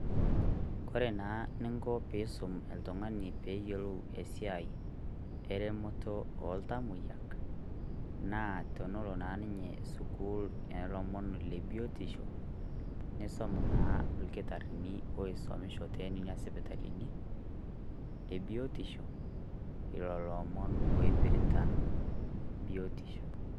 Kore naa niiko piisum iltung'ani pee eiyelo esiai eremoto o ntamoyia, naa tonolo naa ninye suukul e lomoon le biutisho neisom naa ilkitaarini esomisho teenia sipitalini e biutisho elo omoon oipirita biutisho.